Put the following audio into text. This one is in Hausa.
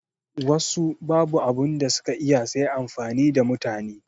Wassu babu abunda suka iya sai amfani da mutane